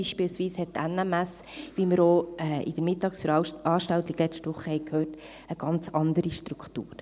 Beispielsweise hat die NMS, wie wir auch in der Mittagsveranstaltung letzte Woche gehört haben, eine ganz andere Struktur.